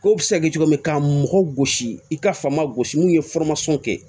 Ko bɛ se ka kɛ cogo min ka mɔgɔ gosi i ka faama gosi n'u ye kɛ